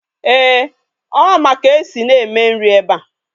Eeh, Ọ ma ka esi na-eme nri ebe a.